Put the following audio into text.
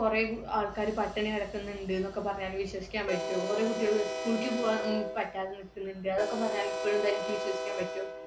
കുറെ ആൾക്കാർ പട്ടിണി കിടക്കുന്നുണ്ട് എന്നൊക്കെ വിശ്വസിക്കാൻ പറ്റോ. കുറേ കുട്ടികൾ school ക്ക് പോവാൻ പറ്റാതെ നിൽക്കുന്നുണ്ട്, അതൊക്കെ പറഞ്ഞാൽ ഇപ്പളും തനിക്ക് വിശ്വസിക്കാൻ പറ്റോ?